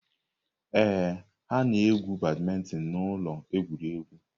Ee, ha na-egwu badminton na ụlọ egwuregwu.